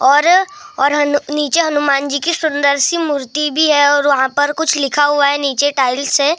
और और हन नीचे हनुमान जी की सुंदर सी मूर्ति भी है और वहाँ पर कुछ लिखा हुआ है नीचे टाइल से --